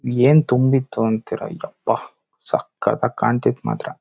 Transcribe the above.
ಏನ್ ತುಂಬಿತ್ತು ಅಂತ್ತೀರಾ ಯಪ್ಪಾ ಸಖತ್ ಆಗ ಕಾಣ್ತಿತ್ತು ಮಾತ್ರ.